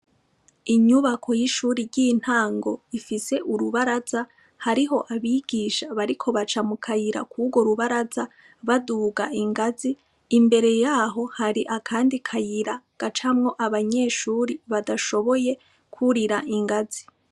Inyubako y'ishuri ry'intango ifise urubaraza hariho abigisha bariko baca mu kayira kuwo rubaraza baduga ingazi imbere yaho hari akandi kayira gacamwo abanyeshuri badashoboye kwurira ingazi.